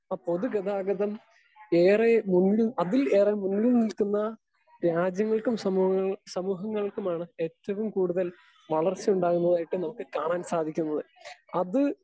Speaker 2 ആ പൊതു ഗതാഗതം ഏറെ മുന്നിൽ അതിൽ ഏറെ മുന്നിൽ നിൽക്കുന്ന രാജ്യങ്ങൾക്കും സമൂഹങ്ങൾ സമൂഹങ്ങൾക്കുമാണ് ഏറ്റവും കൂടുതൽ വളർച്ചയുണ്ടാകുന്നതായിട്ട് നമുക്ക് കാണാൻ സാധിക്കുന്നത്. അത്